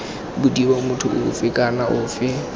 bodiwa motho ofe kana ofe